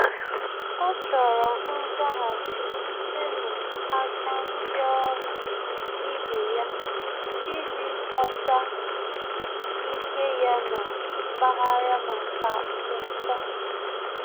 Ọ́ chọ́rọ́ nzaghachi site n’áká ndị ọ́rụ́ ibe ya iji ghọ́tá ike ya na mpaghara màkà uto.